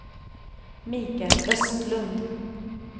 Mikael Östlund